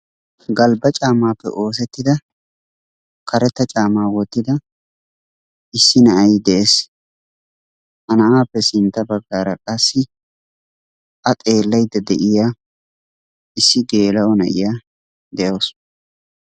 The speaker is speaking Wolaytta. Galbba caammappe oosettida karetta caammaa wottida issi na'ay de'ees ha na'appe sintta baggaara qassi a xeellaydda de'iya issi gella''o na'iyaa de'aawus.